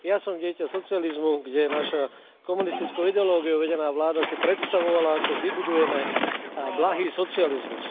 Ja som dieťa socializmu, kde naša komunistickou ideológiou vedená vláda si predstavovala, ako vybudujeme blahý socializmus.